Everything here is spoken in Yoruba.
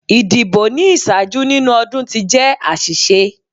Idibo ni iṣaaju ninu ọdun ti jẹ aṣiṣe